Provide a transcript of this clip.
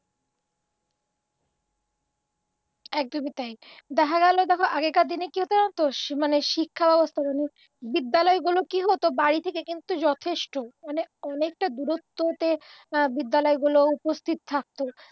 একদমই তাই দেখা গেল দেখ আগেরদিনে কি হত জানতো মানে শিক্ষাব্যবস্থা বিদ্যালয়গুলো কি হত বাড়ি থেকে কিন্তু যথেষ্ট মানে অনেকটা দুরত্বতে বিদ্যালয়গুলো উপস্থিত থাকতো